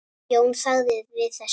Jón þagði við þessu.